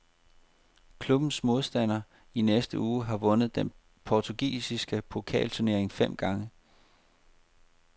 Klubbens modstander i næste uge har vundet den portugisiske pokalturnering fem gange.